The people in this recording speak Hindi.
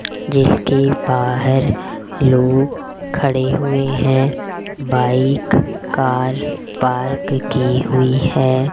जिसके बाहर लोग खड़े हुए हैं बाइक कार पार्क की हुई है।